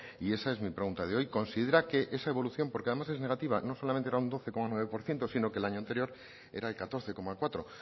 y esa es mi pregunta de hoy considera que esa evolución porque además es negativa no solamente era un doce coma nueve por ciento sino que el año anterior era el catorce coma cuatro